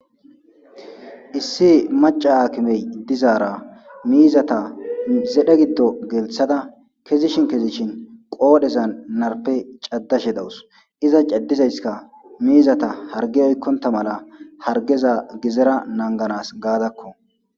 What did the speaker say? issi maca aakimey dizaara miizata zedhe giddo gelthada kezishin kezishin qoodheza narpe caddashe dawus iza caddizayskka miizata hargi oykkonta mala hargeza gizera nanganas gaadakko